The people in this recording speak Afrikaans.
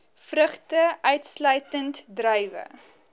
vrugte uitsluitend druiwe